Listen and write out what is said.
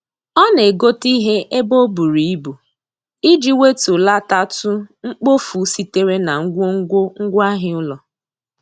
Ọ na-egote ihe ebe o buru ibu iji wetulatatụ mkpofu sitere na ngwongwo ngwaahịa ụlọ.